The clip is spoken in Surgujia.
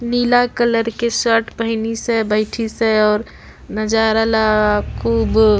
नीला कलर के शर्ट पेहनीस हय बैठीस हय और नजारा ला खुब --